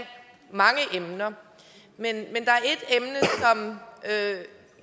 mange emner men der